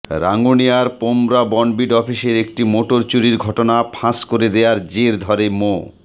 রাঙ্গুনিয়ার পোমরা বনবিট অফিসের একটি মোটর চুরির ঘটনা ফাঁস করে দেয়ার জের ধরে মো